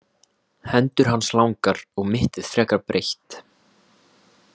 Hendur hans langar og mittið frekar breitt.